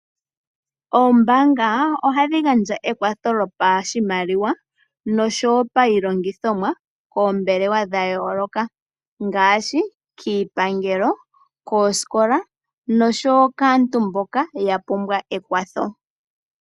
Oombaanga ohadhi gandja ekwatho lyopashimaliwa no sho woo iilongithomwa koombelewa dha yooloka ngaashi kiipangelo, koosikola nosho woo kaantu mboka ya pumbwa omakwatho.